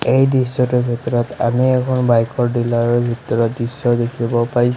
এই দৃশ্যটোৰ ভিতৰত আমি এখন বাইকৰ ডিলাৰৰ ভিতৰৰ দৃশ্য দেখিব পাইছোঁ।